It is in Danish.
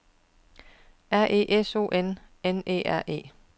R Æ S O N N E R E